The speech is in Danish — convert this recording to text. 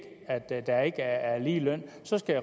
at der ikke er lige løn